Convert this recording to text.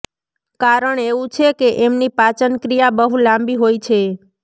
કારણ એવું છે કે એમની પાચનક્રિયા બહુ લાંબી હોય છે